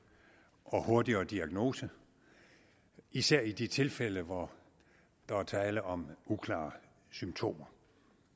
og hurtigere diagnose især i de tilfælde hvor der er tale om uklare symptomer